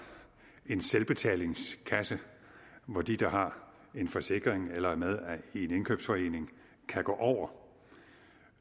en selvbetalingskasse hvor de der har en forsikring eller er med i en indkøbsforening kan gå over